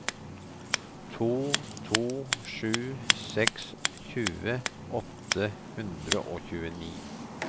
to to sju seks tjue åtte hundre og tjueni